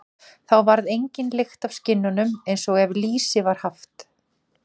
Þá varð engin lykt af skinnunum, eins og ef lýsi var haft.